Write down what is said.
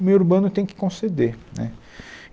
O meio urbano tem que conceder né.